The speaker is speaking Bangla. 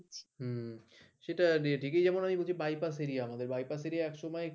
হুম সেটা যেদিকেই যাবো বাইপাস এরিয়া আমাদের বাইপাস এরিয়া এক সময়